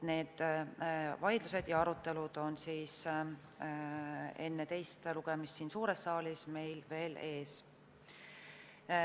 Need vaidlused ja arutelud on enne teist lugemist siin suures saalis meil veel ees.